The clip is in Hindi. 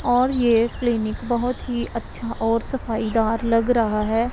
और ये क्लीनिक बहुत ही अच्छा और सफाई दार लग रहा है।